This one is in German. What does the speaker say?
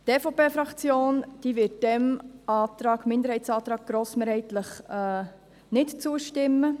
Die EVP-Fraktion wird diesem Minderheitsantrag grossmehrheitlich nicht zustimmen.